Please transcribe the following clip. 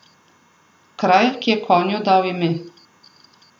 Kraj, ki je konju dal ime.